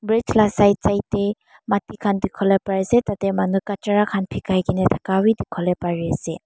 side side te pani khan dekhi bole pari ase tar te manu kachara khan dekhai kena bhi dekhi bole pari ase.